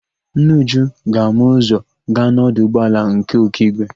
Nne Uju ga-ama ụzọ gaa n'ọdụ ụgbọala nke Ọkigwe.